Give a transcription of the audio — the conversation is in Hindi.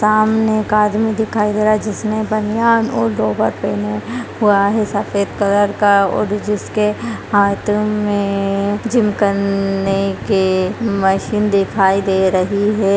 सामने एक आदमी दिखाई दे रहा है जिसने बनियान और लोवर पेहने हुआ है सफेद कलर का और जिस के हाथ में जिम करने के मशीन दिखाई दे रही है।